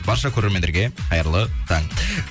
барша көрермендерге қайырлы таң